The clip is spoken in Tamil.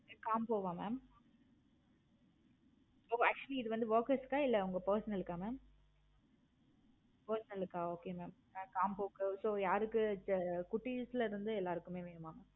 combo வா mam actually இது வந்து workers க்க இல்ல உங்க personal க்க mam personal க்க okay mam combo க்கா? so யாருக்கு குட்டிஸ் ல இருந்து எல்லாருக்குமே mam